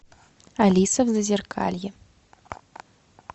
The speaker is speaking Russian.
алиса в зазеркалье